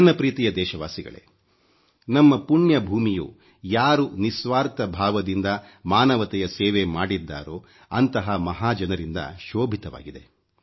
ನನ್ನ ಪ್ರೀತಿಯ ದೇಶವಾಸಿಗಳೇ ನಮ್ಮ ಪುಣ್ಯ ಭೂಮಿಯು ಯಾರು ನಿಸ್ವಾರ್ಥ ಭಾವದಿಂದ ಮಾನವತೆಯ ಸೇವೆ ಮಾಡಿದ್ದಾರೋ ಅಂತಹ ಮಹಾ ಜನರಿಂದ ಶೋಭಿತವಾಗಿದೆ